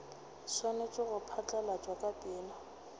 swanetše go phatlalatšwa ka pela